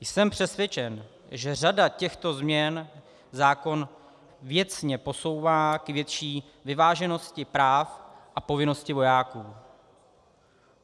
Jsem přesvědčen, že řada těchto změn zákon věcně posouvá k větší vyváženosti práv a povinností vojáků.